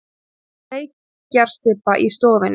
Reykjarstybba í stofunni.